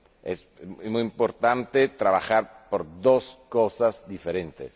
Es muy importante trabajar por dos cosas diferentes.